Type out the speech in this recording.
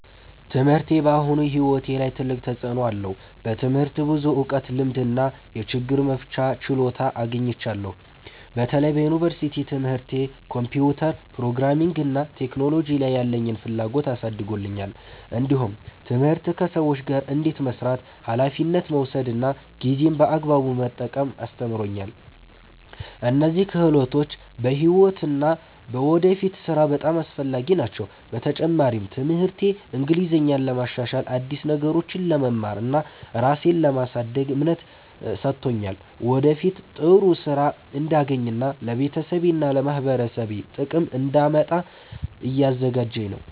ትምህርቴ በአሁኑ ሕይወቴ ላይ ትልቅ ተፅዕኖ አለው። በትምህርት ብዙ እውቀት፣ ልምድ እና የችግር መፍቻ ችሎታ አግኝቻለሁ። በተለይ በዩኒቨርሲቲ ትምህርቴ ኮምፒውተር፣ ፕሮግራሚንግ እና ቴክኖሎጂ ላይ ያለኝን ፍላጎት አሳድጎልኛል። እንዲሁም ትምህርት ከሰዎች ጋር እንዴት መስራት፣ ኃላፊነት መውሰድ እና ጊዜን በአግባቡ መጠቀም አስተምሮኛል። እነዚህ ክህሎቶች በሕይወት እና በወደፊት ሥራ በጣም አስፈላጊ ናቸው። በተጨማሪም ትምህርቴ እንግሊዝኛን ለማሻሻል፣ አዲስ ነገሮችን ለመማር እና ራሴን ለማሳደግ እምነት ሰጥቶኛል። ወደፊት ጥሩ ሥራ እንዳገኝ እና ለቤተሰቤና ለማህበረሰቤ ጥቅም እንዳመጣ እያዘጋጀኝ ነው።